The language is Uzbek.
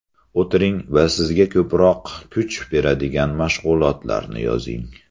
O‘tiring va sizga ko‘proq kuch beradigan mashg‘ulotlarni yozing.